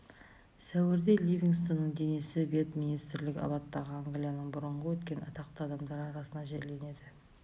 сәуірде ливингстонның денесі виет-министрлік аббаттағы англияның бұрынғы өткен атақты адамдары арасына жерленеді